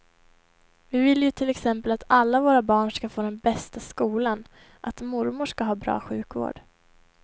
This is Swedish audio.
Vi vill ju till exempel att alla våra barn ska få den bästa skolan, att mormor ska ha bra sjukvård.